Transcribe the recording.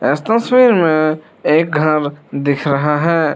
इस तस्वीर में एक घर दिख रहा है।